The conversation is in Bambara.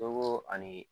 Don koo ani